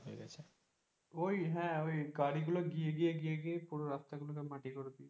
ওই হ্যাঁ গাড়িগুলো গিয়ে গিয়ে গিয়ে পুরো রাস্তাগুলো সব মাটি করে দিয়েছে।